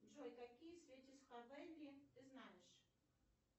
джой какие ты знаешь